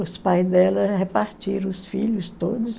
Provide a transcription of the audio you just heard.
os pais dela repartiram os filhos todos.